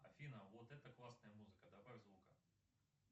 афина вот это классная музыка добавь звука